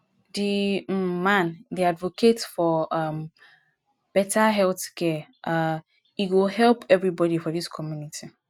di um man dey advocate for um beta healthcare um e go help everybodi for dis community